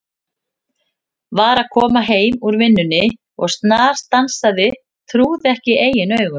Var að koma heim úr vinnunni og snarstansaði, trúði ekki eigin augum.